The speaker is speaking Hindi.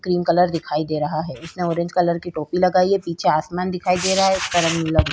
क्रीम कलर दिखाई दे रहा है इसने ऑरेंज कलर की टोपी लगाई है पीछे आसमान दिखाई दे रहा है।